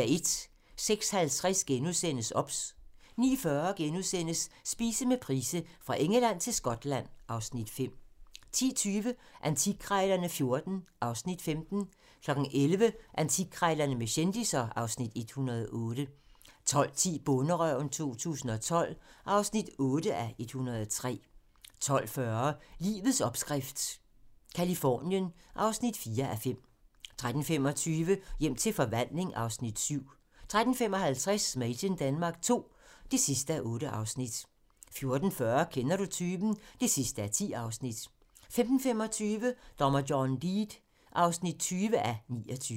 06:50: OBS * 09:40: Spise med Price - Fra Engeland til Skotland (Afs. 5)* 10:20: Antikkrejlerne XIV (Afs. 15) 11:00: Antikkrejlerne med kendisser (Afs. 108) 12:10: Bonderøven 2012 (8:103) 12:40: Livets opskrift - Californien (4:5) 13:25: Hjem til forvandling (Afs. 7) 13:55: Made in Denmark II (8:8) 14:40: Kender du typen? (10:10) 15:25: Dommer John Deed (20:29)